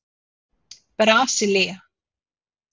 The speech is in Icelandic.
Brasilía